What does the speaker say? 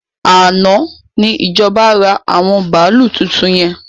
Àná ni ìjọba ra àwọn bàálú tuntun yẹn